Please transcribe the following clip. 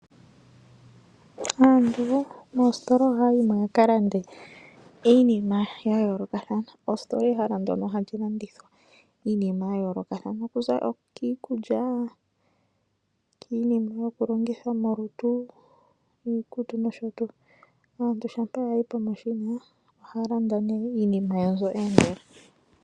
Aantu moositola oha ya yimo ya ka lande iinima ya yoolokathana. Ositola ehala ndyono ha li landithwa iinima ya yoolokathana okuza kiikulya, okiinima yoku longithwa molutu niikutu nosho tuu. Aantu shampa ya yi pomashina oha ya landa iinima yawo mbyono ya endela.